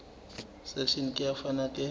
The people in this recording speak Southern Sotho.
section e ka fana ka